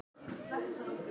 Sigur hjá Val og Stjörnunni